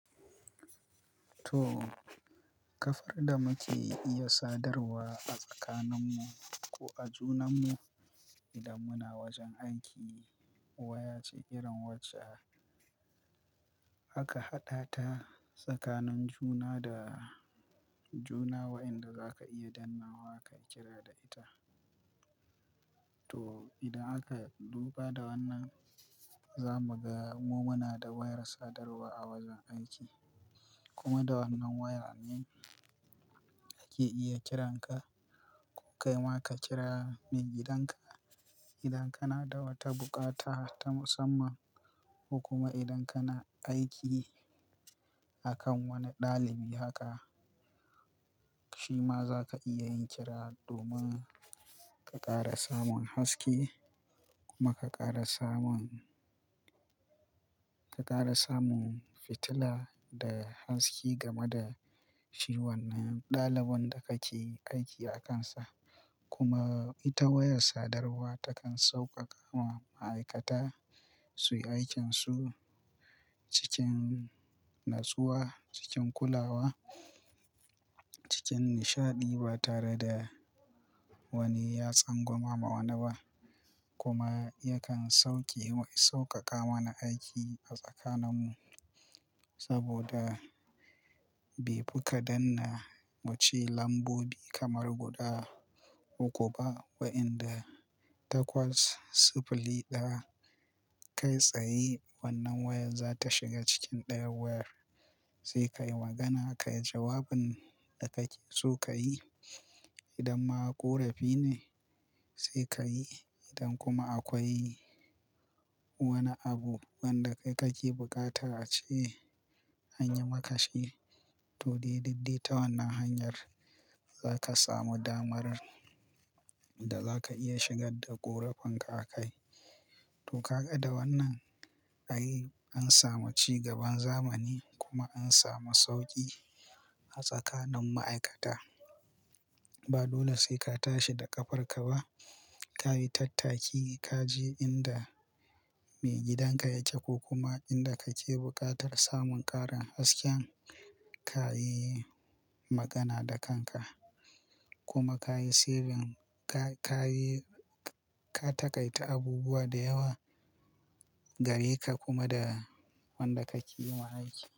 To, kafar da muke iya sadarwa a tsakaninmu ko a junanmu idan muna wajen aiki waya ce irin wacce aka haɗa ta tsakanin juna da juna waɗanda za ka iya danna wa kayi kira da ita. To, idan aka duba da wannan, za mu ga mu muna da wayar sadarwa a wajen aiki. Kuma da wannan waya ne ake iya kiranka ko kai ma ka kira maigidanka. Idan kana da wata bukata ta musamman ko kuma idan kana aiki a kan wani ɗalibi haka, shi ma za ka iya yin kira domin ka ƙara samun haske kuma ka ƙara samun, ka ƙara samun fitila da haske game da shi wannan ɗalibin da kake aiki akansa. Kuma ita wayar sadarwa takan sauƙaƙa ma ma'aikata su yi aikinsu cikin natsuwa, cikin kulawa, cikin nishaɗi ba tare da wani yatsan gwama ma wani ba. Kuma yakan sauke wa, sauƙaƙa mana aiki a tsakaninmu saboda bai fi ka danna muce lambobi kamar guda uku ba. Wa'inda takwas siffili ɗaya kai tsaye wannan wayar za ta shiga cikin ɗayan wayar sai ka yi magana ka yi jawabin da kake so ka yi. Idan ma ƙorafi ne sai ka yi. Idan kuma akwai wani abu wanda kai kake bukata ace anyi maka shi to, daidai duk ta wannan hanyar za ka samu damar da za ka iya shigar da ƙorafinka a kai. To, ka ga da wannan ai, an samu ci gaban zamani kuma an samu sauƙi a tsakanin ma'aikata. Ba dole sai ka tashi da ƙafarka ba. Ka yi tattaki ka je inda maigidanka yake ko kuma inda kake buƙatar samun ƙarin hasken. Ka yi magana da kanka kuma ka yi sirrin ka, ka yi, ka taƙaita abubuwa da yawa gare ka kuma da wanda kake yima aiki.